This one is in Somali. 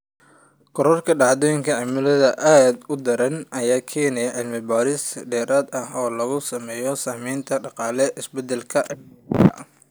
Korodhka dhacdooyinka cimilada aadka u daran ayaa keenaysa cilmi-baaris dheeraad ah oo lagu sameeyo saamaynta dhaqaale ee isbeddelka cimilada.